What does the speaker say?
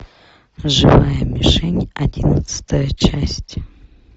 живая мишень одиннадцатая часть